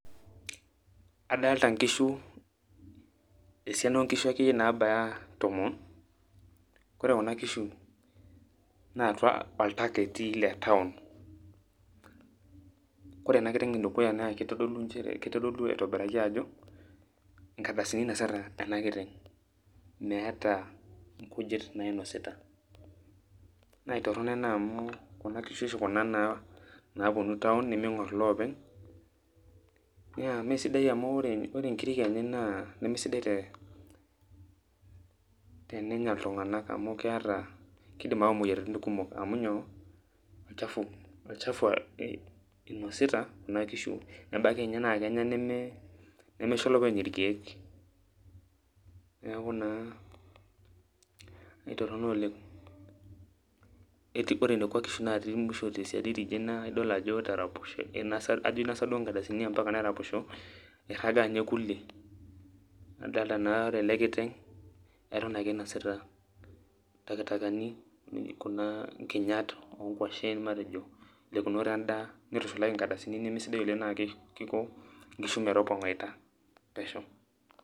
Adalta nkishu, esiana onkishu akeyie nabaya tomon, ore kuna kishu na atua orpaka etii le taon. Kore ena kiteng' edukuya na kitodolu njere, kitodolu aitobiraki ajo, inkardasini inasita ena kiteng'. Meeta nkujit nainosita. Naitorrono ena amu, kuna kishu oshi kuna naponu taon niming'or ilopeny, na mesidai amu ore nkirik enye naa, nemesidai te tenenya iltung'anak amu ketaa kidim au moyiaritin kumok, amu nyoo, olchafu inosita kuna kishu. Nebaiki nye na kenya neme nimisho olopeny irkeek. Neeku naa, aitorrono oleng'. Ore nekwa kishu natii musho tesiadi tidie, na idol ajo etaraposhe, ajo inosa duo nkardasini ampaka neraposho, irraga nye kulie. Adalta naa ore ele kiteng',etum akinasita intakitakani, kuna kinyat onkwashen, matejo lekunot endaa, nitushulaki nkardasini nemesidai oleng' na kiko nkishu metopong'aita pesho.